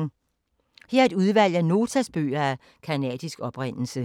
Her er et udvalg af Notas bøger af canadisk oprindelse.